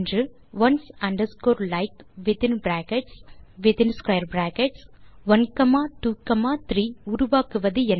once underscore like within brackets within square brackets 1 comma 2 comma 3 உருவாக்குவது என்ன